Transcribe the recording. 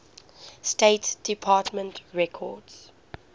state department records